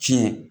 Ci ye